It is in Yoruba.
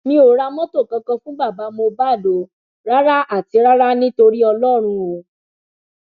mi ò ra mọtò kankan fún bàbá mohbad o rárá àti rárá ni torí ọlọrun o